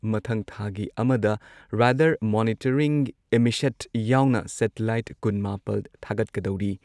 ꯃꯊꯪ ꯊꯥꯒꯤ ꯑꯃꯗ ꯔꯗꯥꯔ ꯃꯣꯅꯤꯇꯔꯤꯡ ꯏꯃꯤꯁꯦꯠ ꯌꯥꯎꯅ ꯁꯦꯇꯤꯂꯥꯏꯠ ꯀꯨꯟ ꯃꯥꯄꯜ ꯊꯥꯒꯠꯀꯗꯧꯔꯤ ꯫